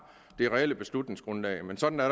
det reelle beslutningsgrundlag men sådan er